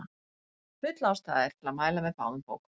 Full ástæða er til að mæla með báðum bókunum.